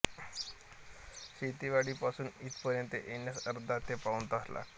सितेवाडी पासून इथपर्यंत येण्यास अर्धा ते पाऊण तास लागतो